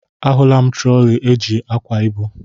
A hụla m trọli eji ákwà ibu.